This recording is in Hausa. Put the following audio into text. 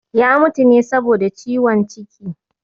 Ya mutu ne saboda ciwon ciki